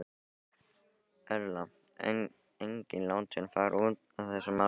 Erla: En enginn látinn fara út af þessu máli?